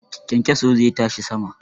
Kyankyaso zai tashi sama.